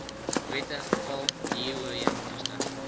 wette val huurooreenkomste